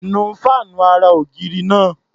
Nu fáànù ara-ògiri náá̀.